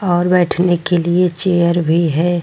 और बैठने के लिए चेयर भी है।